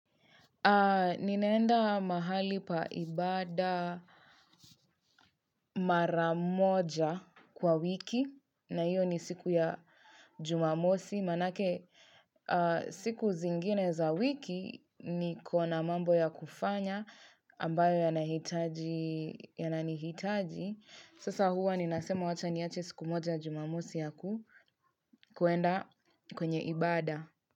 Ninaenda mahali pa ibada maramoja kwa wiki na hiyo ni siku ya jumamosi manake siku zingine za wiki niko na mambo ya kufanya ambayo yanahitaji yanani hitaji. Sasa huwa ninasema wacha niache siku moja ya jumamosi ya kuenda kwenye ibada.